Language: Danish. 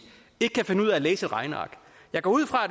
ikke kan finde ud af at læse et regneark jeg går ud fra at